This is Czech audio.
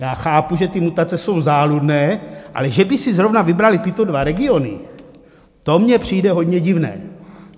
Já chápu, že ty mutace jsou záludné, ale že by si zrovna vybraly tyto dva regiony, to mně přijde hodně divné.